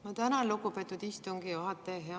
Ma tänan, lugupeetud istungi juhataja!